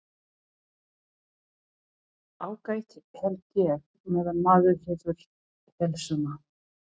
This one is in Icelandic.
Ágætt held ég. meðan maður hefur heilsuna.